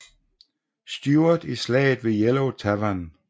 Stuart i slaget ved Yellow Tavern